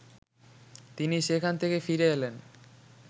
তিনি সেখান থেকে ফিরে এলেন